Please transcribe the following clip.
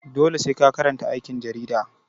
Dole sai ka karanta aikin jarida.